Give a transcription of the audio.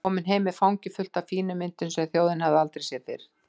Kom heim með fangið fullt af fínum myndum sem þjóðin hafði aldrei séð fyrr.